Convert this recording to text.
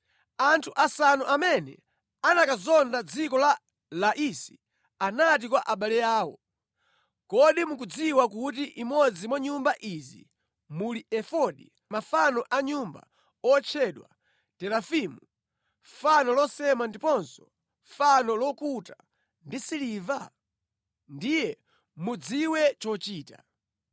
Anthu asanu amene anakazonda dziko la Laisi anati kwa abale awo, “Kodi mukudziwa kuti imodzi mwa nyumba izi muli efodi, mafano a mʼnyumba otchedwa terafimu, fano losema ndiponso fano lokuta ndi siliva? Ndiye mudziwe chochita.”